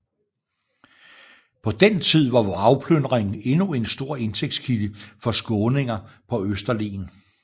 På den tid var vragplyndring endnu en stor indtægtskilde for skåninger på Østerlen